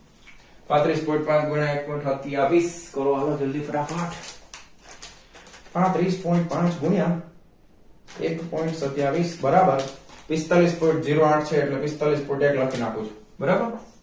પાંત્રિસ point પાંચ ગુણ્યાં એક point સત્યાવીસ કરવા નું જલ્દી ફટાફટ પાંત્રિસ point પાંચ ગુણ્યાં એક point સત્યાવીસ બરાબર પિસ્તાલીસ point zero આઠ છે એટલે પિસ્તાલીસ point એક લખી નાખું છુ બરાબર